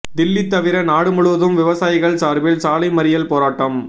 தில்லி தவிர நாடு முழுவதும் விவசாயிகள் சார்பில் சாலை மறியல் போராட்டம்